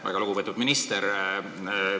Väga lugupeetud minister!